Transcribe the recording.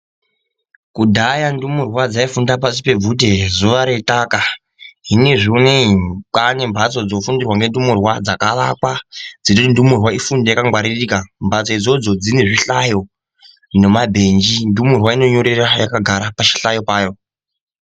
Kudhaya ndumurwa dzaifunda pashi pebvute zuwa reitaka, zvinezvi unowu kwaane mphatso dzofundirwa ngendumure dzakavakwa dziri kuti ndumurwa ifunde yakangwaririka, mphatso idzodzo dzine zvihlayo nemabhenji, ndumurwa inonyorera yakagara pachihlayo chayo.